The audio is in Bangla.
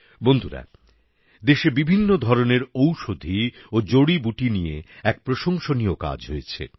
বন্ধুরা দেশে বিভিন্ন ধরনের ঔষধী ও জড়িবুটি নিয়ে এক প্রশংসনীয় কাজ হয়েছে